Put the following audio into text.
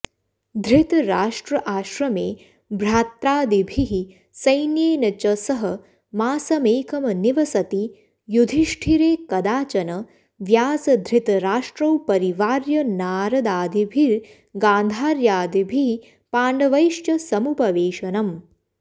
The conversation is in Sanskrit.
धृतराष्ट्राश्रमे भ्रात्रादिभिः सैन्येन च सह मासमेकं निवसति युधिष्ठिरे कदाचन व्यासधृतराष्ट्रौ परिवार्य नारादादिभिर्गान्धार्यादिभिः पाण्डवैश्च समुपवेशनम्